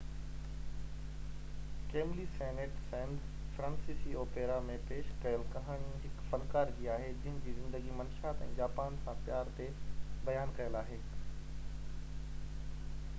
Camille Saint Saens فرانسيسي opera ۾ پيش ڪيل ڪهاڻي هڪ فنڪار جي آهي جنهن جي زندگي منشيات ۽ جاپان سان پيار تي بيان ڪيل آهي